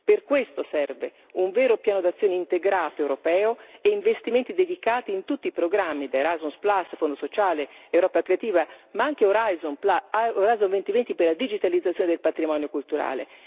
Per questo servono un vero piano d'azione integrato europeo e investimenti dedicati in tutti i programmi Erasmus, Fondo sociale, Europa creativa, ma anche Horizon 2020 per la digitalizzazione del patrimonio culturale.